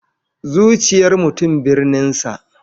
Zuciyar mutum birninsa.